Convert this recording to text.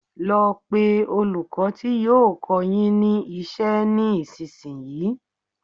Lọ pé olùkọ́ ti yóò kọ́ọ yín ní iṣẹ́ ní ìsinsìnyí!